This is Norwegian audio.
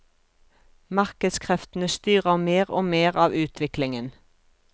Markedskreftene styrer mer og mer av utviklingen.